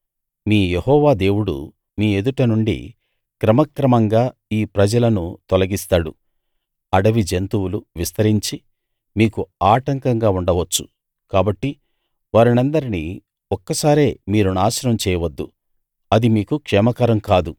మీ Jehovah దేవుడు మీ ఎదుట నుండి క్రమక్రమంగా ఈ ప్రజలను తొలగిస్తాడు అడవి జంతువులు విస్తరించి మీకు ఆటంకంగా ఉండవచ్చు కాబట్టి వారినందరినీ ఒక్కసారే మీరు నాశనం చేయవద్దు అది మీకు క్షేమకరం కాదు